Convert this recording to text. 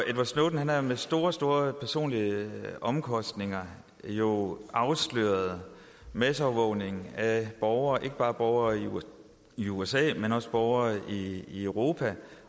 snowden har med store store personlige omkostninger jo afsløret masseovervågning af borgere ikke bare borgere i usa men også borgere i europa